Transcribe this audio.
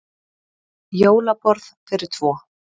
Jólaborð fyrir tvo.